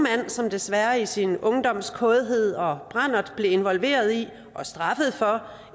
som desværre i sin ungdoms kådhed og brandert blev involveret i og straffet for